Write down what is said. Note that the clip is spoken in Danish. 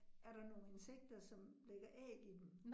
Er der nogle insekter, som lægger æg i den